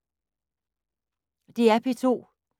DR P2